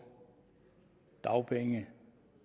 dagpenge